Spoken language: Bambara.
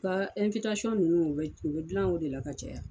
U ka nunnu u bɛ u bi gilan o de la ka caya.